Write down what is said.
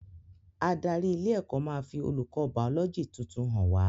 Adarí ilé ẹ́kọ́ máa fi olùkọ́ bàọ́lọ́gì tuntun hàn wá